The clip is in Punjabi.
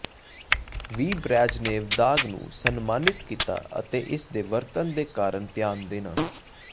ਵੀ ਬ੍ਰੈਜ਼ਨੇਵ ਦਾਗ ਨੂੰ ਸਨਮਾਨਿਤ ਕੀਤਾ ਅਤੇ ਇਸ ਦੇ ਵਰਤਣ ਦੇ ਕਾਰਨ ਧਿਆਨ ਦੇਣਾ